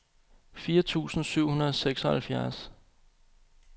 firs tusind syv hundrede og seksoghalvfjerds